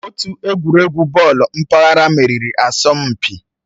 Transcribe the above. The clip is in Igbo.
Otu egwuregwu bọọlụ mpaghara meriri asọmpi.